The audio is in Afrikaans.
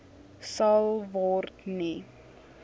sal word nie